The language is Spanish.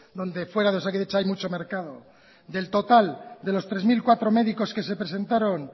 donde fuera de osakidetza hay mucho mercado del total de los tres mil cuatro médicos que se presentaron